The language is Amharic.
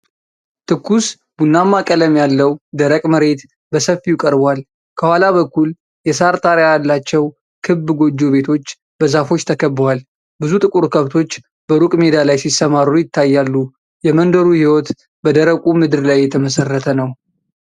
ትኩስ ቡናማ ቀለም ያለው ደረቅ መሬት በሰፊው ቀርቧል። ከኋላ በኩል የሣር ጣሪያ ያላቸው ክብ ጎጆ ቤቶች በዛፎች ተከበዋል። ብዙ ጥቁር ከብቶች በሩቅ ሜዳ ላይ ሲሰማሩ ይታያሉ። የመንደሩ ሕይወት በደረቁ ምድር ላይ የተመሠረተ ነው።